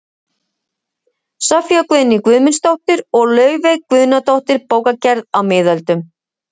Soffía Guðný Guðmundsdóttir og Laufey Guðnadóttir, Bókagerð á miðöldum